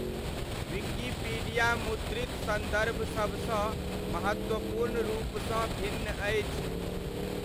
Wikipedia मुद्रित सन्दर्भसबसँ महत्वपूर्ण रूपसँ भिन्न अछि।